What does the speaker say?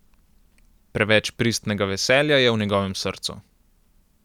Preveč pristnega veselja je v njegovem srcu.